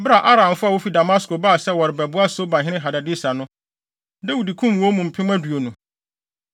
Bere a Aramfo a wofi Damasko baa sɛ wɔrebɛboa Sobahene Hadadeser no, Dawid kum wɔn mu mpem aduonu.